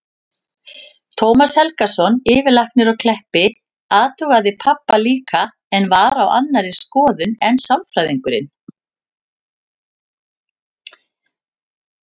Tómas Helgason, yfirlæknir á Kleppi, athugaði pabba líka en var á annarri skoðun en sálfræðingurinn.